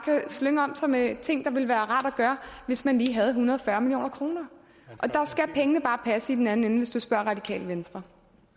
kan slynge om sig med ting det ville være rart at gøre hvis man lige havde en hundrede og fyrre million kroner der skal pengene bare passe i den anden ende hvis man spørger radikale venstre